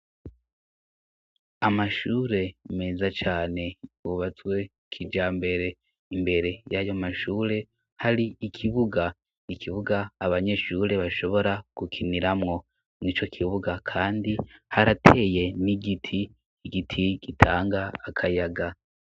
Amashure meza cane bubazwe kija mbere imbere y'ayo mashure hari ikibuga ikibuga abanyeshure bashobora gukiniramwo ni co kibuga, kandi harateye n'igiti igiti gitanga akayaga.